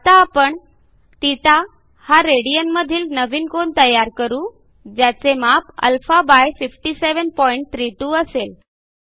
आता आपण θ हा रेडियन मधील नवीन कोन तयार करू ज्याचे माप α5732 असेल